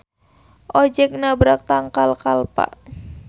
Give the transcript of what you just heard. Ojeg nabrak tangkal kalpa.